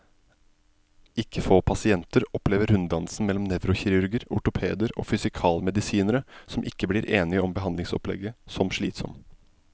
Ikke få pasienter opplever runddansen mellom nevrokirurger, ortopeder og fysikalmedisinere, som ikke blir enige om behandlingsopplegget, som slitsom.